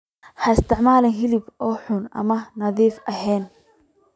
Ha isticmaalin hilib ur xun ama aan nadiif ahayn.